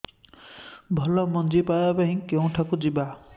ଭଲ ମଞ୍ଜି ପାଇବା ପାଇଁ କେଉଁଠାକୁ ଯିବା